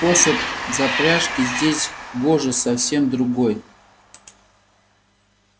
способ запряжки здесь гоже совсем другой